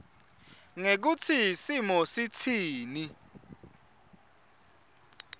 ngekutsi simo sitsini